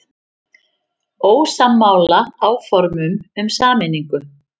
Ósammála áformum um sameiningu